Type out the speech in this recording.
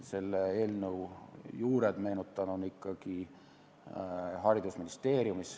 Selle eelnõu juured, meenutan, on ikkagi haridusministeeriumis.